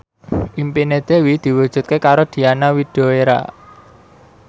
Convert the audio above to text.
impine Dewi diwujudke karo Diana Widoera